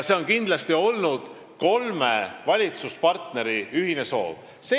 See on kindlasti olnud kolme valitsuspartneri ühine soov.